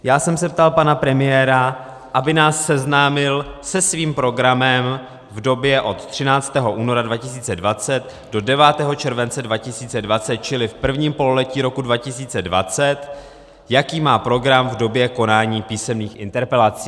Já jsem se ptal pana premiéra, aby nás seznámil se svým programem v době od 13. února 2020 do 9. července 2020, čili v prvním pololetí roku 2020, jaký má program v době konání písemných interpelací.